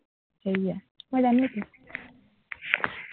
সেটোৱেই মই জানোৱেতো